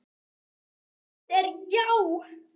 Svar mitt er já.